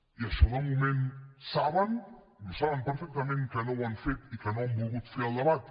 i d’això de moment saben i ho saben perfectament que no ho han fet i que no han volgut fer el debat